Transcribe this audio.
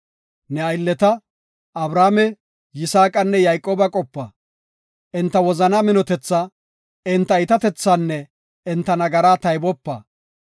Ne aylleta, Abrahaame, Yisaaqanne Yayqooba qopa; enta wozanaa minotethaa, enta iitatethaanne enta nagaraa taybopa.